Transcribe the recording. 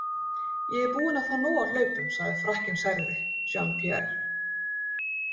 Ég er búinn að fá nóg af hlaupum, sagði Frakkinn særði, Jean- Pierre.